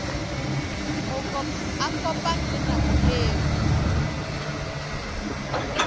a kopane le nako eo